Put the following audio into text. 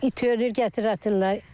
İt ölür gətir atırlar.